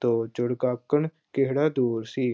ਤਾਂ ਕਿਹੜਾ ਦੂਰ ਸੀ।